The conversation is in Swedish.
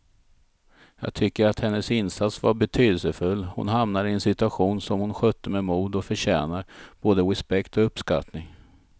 Jag tycker att hennes insats var betydelsefull, hon hamnade i en situation som hon skötte med mod och förtjänar både respekt och uppskattning.